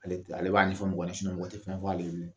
Ale b'a ɲɛfɔ mɔgɔ ye mɔgɔ tɛ fɛn fɔ ale ye .